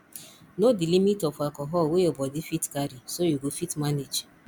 know di limit of alcohol wey your body fit carry so you go fit manage